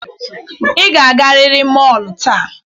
Ị ga-agarịrị mọọlu taa.